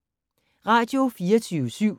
Radio24syv